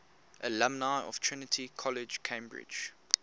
alumni of trinity college cambridge